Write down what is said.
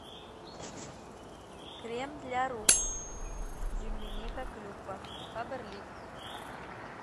крем для рук земляника клюква фаберлик